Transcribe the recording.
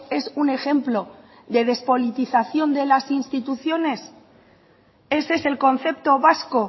es un ejemplo de despolitización de las instituciones ese es el concepto vasco